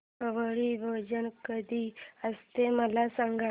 आवळी भोजन कधी असते मला सांग